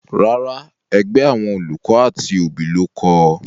Rárá, ẹgbẹ́ àwọn olùkọ́ àti òbí ló kọ ọ